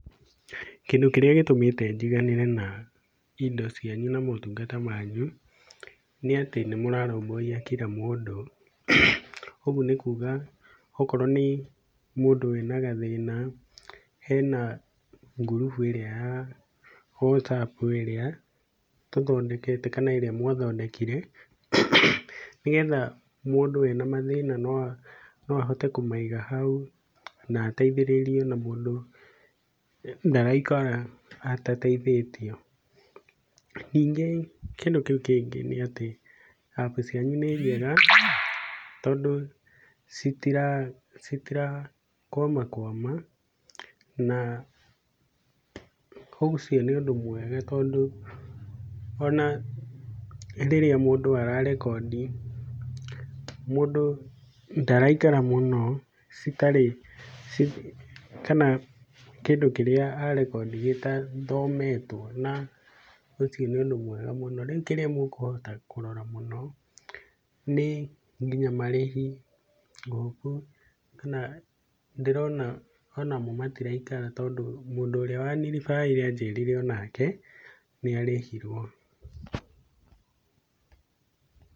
Kĩndũ kĩrĩa gĩtũmĩte njiganĩre na indo cianyu na motungata manyu nĩ atĩ nĩ mũrarũmbũiya kira mũndũ. Ũguo nĩ kuga okorwo nĩ mũndũ wĩna gathĩna hena group ĩrĩa ya WhatsApp ĩrĩa mũthondekete kana ĩrĩa mwathondekire, nĩgetha mũndũ ena mathĩna no ahote kũmaiga hau, kana ateithĩrĩrio na mũndũ ndaraikara atateithĩtio. Ningĩ kĩndũ kĩngĩ nĩ atĩ App cianyu nĩ njega tondũ citirakwamakwama na ũcio nĩ ũndũ mwega tondũ ona rĩrĩa mũndũ ara rekondi mũndũ ndaraikara mũno citarĩ kana kĩndũ kĩrĩa a rekondi gĩtathometwo, na ũcio nĩ ũndũ mwega mũno. Rĩu kĩndũ kĩrĩa mũkũhota kũrora mũno nĩ nginya marĩhi. Ngũ hope kana ndĩrona ona mo matiraikara tondũ mũndũ ũrĩa wa ni referred ire anjĩrire onake nĩ arĩhirwo.